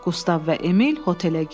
Qustav və Emil hotelə girdi.